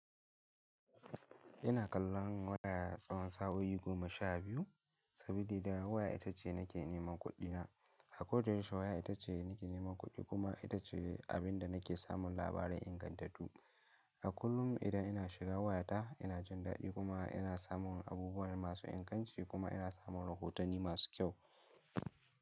Ina kallon waya tsawon sa'o'i goma sha biyu, sabili da waya ita ce nake neman kuɗina. A koda yaushe waya ita ce nake neman kuɗi kuma ita ce abin da nake samun labarai ingantattu. A kullum idan ina shiga wayata ina jin daɗi kuma ina samun abubuwan masu inganci kuma ina samun rahotanni masu kyau.